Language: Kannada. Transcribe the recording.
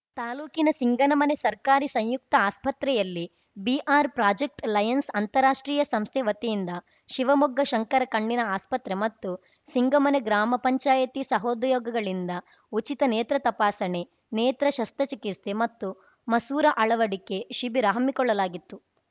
ತಾಲೂಕಿನ ಸಿಂಗನಮನೆ ಸರ್ಕಾರಿ ಸಂಯುಕ್ತ ಆಸ್ಪತ್ರೆಯಲ್ಲಿ ಬಿಆರ್‌ ಪ್ರಾಜೆಕ್ಟ್ ಲಯನ್ಸ್‌ ಅಂತಾರಾಷ್ಟ್ರೀಯ ಸಂಸ್ಥೆ ವತಿಯಿಂದ ಶಿವಮೊಗ್ಗ ಶಂಕರ ಕಣ್ಣಿನ ಆಸ್ಪತ್ರೆ ಮತ್ತು ಸಿಂಗಮನೆ ಗ್ರಾಮ ಪಂಚಾಯಿತಿ ಸಹದಯೋಗಗಳಿಂದ ಉಚಿತ ನೇತ್ರ ತಪಾಸಣೆ ನೇತ್ರ ಶಸ್ತ್ರಚಿಕಿತ್ಸೆ ಮತ್ತು ಮಸೂರ ಅಳವಡಿಕೆ ಶಿಬಿರ ಹಮ್ಮಿಕೊಳ್ಳಲಾಗಿತ್ತು